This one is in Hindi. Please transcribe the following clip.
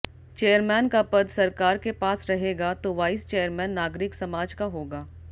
चेयरमैन का पद सरकार के पास रहेगा तो वाइस चेयरमैन नागरिक समाज का होगा